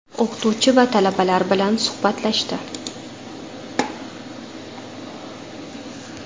O‘qituvchi va talabalar bilan suhbatlashdi.